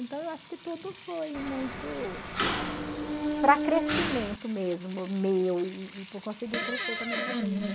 Então, eu acho que tudo foi muito para crescimento mesmo meu e e por conseguir crescer com a minha família.